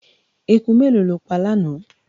Eku mélòó ló pa lánàá.